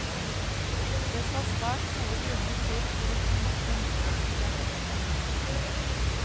Det skal svært gode grunner til for å få nok en utsettelse.